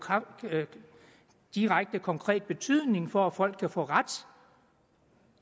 direkte konkret betydning for at folk kan få ret